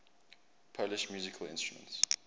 polish musical instruments